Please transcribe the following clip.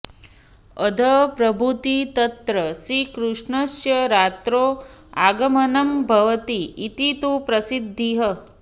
अद्यप्रभृति तत्र श्रीकृष्णस्य रात्रौ आगमनं भवति इति तु प्रसिद्धिः